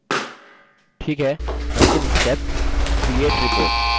ठीक है अंतिम stepcreate report